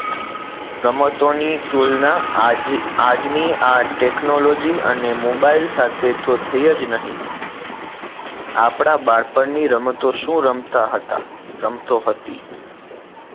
રમતો ની તુલના આજ આજ ની આ technology અને મોબાઈલ સાથે તો થઇ જ નહી આપના બાળપણ ની રમતો શું રમતા હતા રમતો હતી